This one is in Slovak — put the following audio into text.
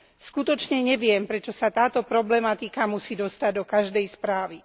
Skutočne neviem, prečo sa táto problematika musí dostať do každej správy.